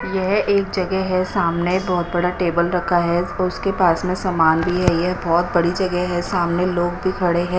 यह एक जगह है सामने बहोत बड़ा टेबल रखा है उसके पास में सामान भी है यह बहोत बड़ी जगह है सामने लोग भी खड़े है।